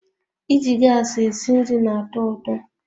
Iji gas esi nri na-atọ ụtọ